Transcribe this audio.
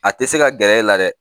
A tɛ se ka gɛrɛ e la dɛ